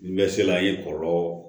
N bɛ sela an ye kɔlɔlɔ